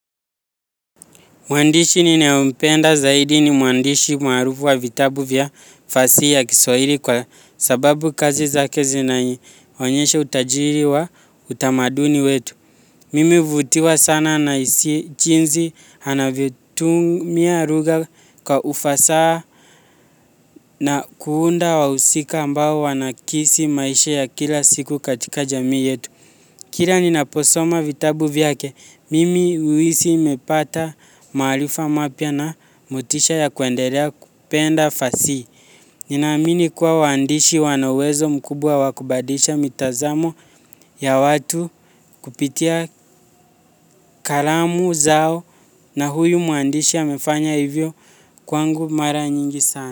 Mwandishi ninayempenda zaidi ni mwandishi maarufu wa vitabu vya fasihi ya kiswahiri kwa sababu kazi zake zinaionyesha utajiri wa utamaduni wetu. Mimi huvutiwa sana na hisia jinsi anavyotumia lugha kwa ufasaha na kuunda wahusika ambao wanakisi maisha ya kila siku katika jamii yetu. Kila ninaposoma vitabu vyake, mimi huhisi nimepata maarifa mapya na motisha ya kuendelea kupenda fasihi. Ninaamini kuwa waandishi wana uwezo mkubwa wa kubadilisha mitazamo ya watu kupitia kalamu zao na huyu mwandishi amefanya hivyo kwangu mara nyingi sana.